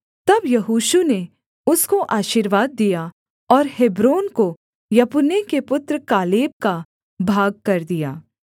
तब यहोशू ने उसको आशीर्वाद दिया और हेब्रोन को यपुन्ने के पुत्र कालेब का भागकर दिया